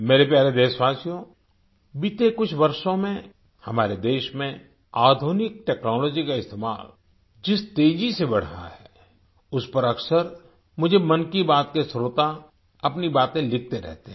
मेरे प्यारे देशवासियो बीते कुछ वर्षों में हमारे देश में आधुनिक टेक्नोलॉजी का इस्तेमाल जिस तेजी से बढ़ रहा है उस पर अक्सर मुझे मन की बात के श्रोता अपनी बातें लिखते रहते हैं